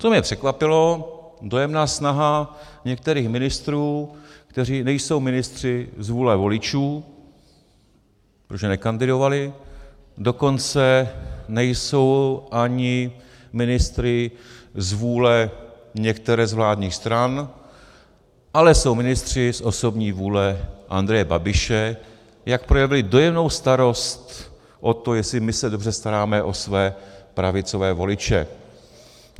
Co mě překvapilo, dojemná snaha některých ministrů, kteří nejsou ministři z vůle voličů, protože nekandidovali, dokonce nejsou ani ministry z vůle některé z vládních stran, ale jsou ministři z osobní vůle Andreje Babiše, jak projevili dojemnou starost o to, jestli my se dobře staráme o své pravicové voliče.